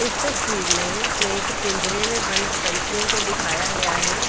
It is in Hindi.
इस तस्वीर में एक पिंजरे में बंद पंछियों को दिखाया गया है।